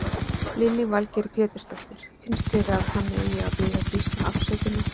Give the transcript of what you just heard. Lillý Valgerður Pétursdóttir: Finnst þér að hann eigi að biðja Gísla afsökunar?